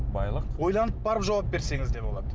байлық ойланып барып жауап берсеңіз де болады